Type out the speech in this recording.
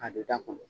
A bɛ da kɔnɔ